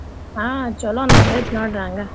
ಹಾ ಚೊಲೋ ನಡ್ದೈತ್ ನೋಡ್ರಿ ಹಂಗ.